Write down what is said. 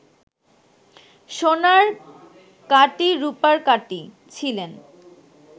সোনার কাটি রুপার কাটি ছিলেন